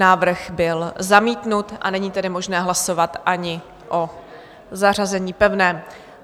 Návrh byl zamítnut, a není tedy možné hlasovat ani o zařazení pevném.